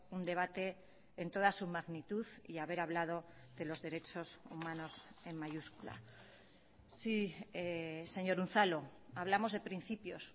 un debate en toda su magnitud y haber hablado de los derechos humanos en mayúscula sí señor unzalu hablamos de principios